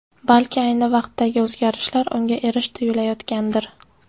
Balki ayni vaqtdagi o‘zgarishlar unga erish tuyulayotgandir.